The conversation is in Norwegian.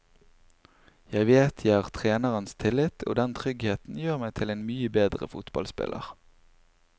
Jeg vet jeg har trenerens tillit og den tryggheten gjør meg til en mye bedre fotballspiller.